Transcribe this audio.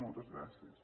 moltes gràcies